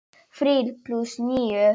Þrír plús níu.